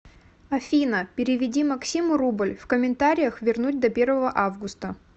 афина переведи максиму рубль в комментариях вернуть до первого августа